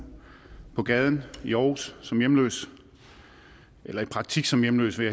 på gaden i aarhus som hjemløs eller i praktik som hjemløs vil